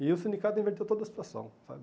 E o sindicato inverteu toda a situação, sabe?